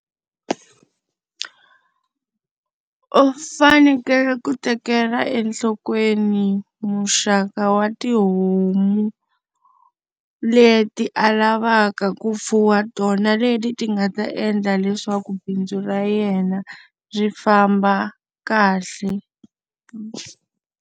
U fanekele ku tekela enhlokweni muxaka wa tihomu leti a lavaka ku fuwa tona leti ti nga ta endla leswaku bindzu ra yena ri famba kahle.